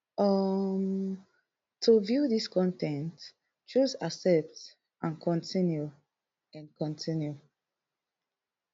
um to view dis con ten t choose accept and continue and continue